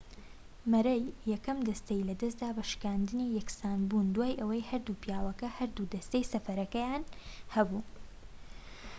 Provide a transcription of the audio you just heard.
مەرەی یەکەم دەستەی لەدەستدا بە شکاندنی یەکسانبوون دوای ئەوەی هەردوو پیاوەکە هەردوو دەستەی سەرفەکەیان هەبوو